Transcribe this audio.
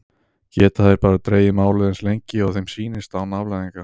Geta þeir bara dregið málið eins lengi og þeim sýnist án afleiðinga?